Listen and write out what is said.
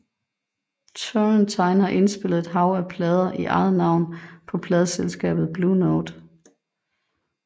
Turrentine har indspillet et hav af plader i eget navn på pladeselskabet Blue Note